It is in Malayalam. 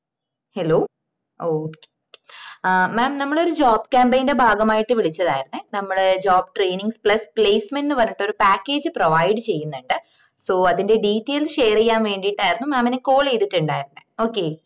hello okay ആഹ് mam നമ്മള് ഒരു job campaign ന്റെ ഭാഗമായിട്ട് വിളിച്ചതായിരുന്നേ നമ്മള് job training plus placement ന്ന് പറഞ്ഞിട്ട് ഒരു package provide ചെയ്യുന്നുണ്ട് so അതിന്റെ details share ചെയ്യാൻ വേണ്ടീട്ടയർന്ന് mam നെ call ചെയ്‌തിട്ടുണ്ടായിരുന്നേ okay